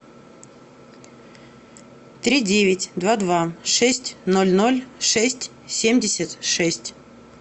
три девять два два шесть ноль ноль шесть семьдесят шесть